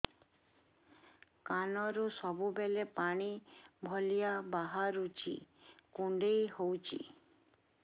କାନରୁ ସବୁବେଳେ ପାଣି ଭଳିଆ ବାହାରୁଚି କୁଣ୍ଡେଇ ହଉଚି